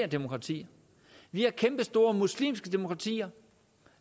demokrati vi har kæmpestore muslimske demokratier